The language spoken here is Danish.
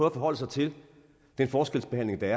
at forholde sig til den forskelsbehandling der